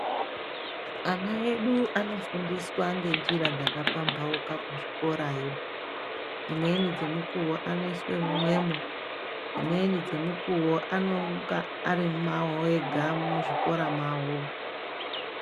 Ana edu anofundiswa ngenjira dzakapamhauka kuzvikorayo. Dzimweni dzemukuwo vanoiswe mumwemwo, dzimweni dzemukuwo anonga ari mwawo muzvikora mwawo.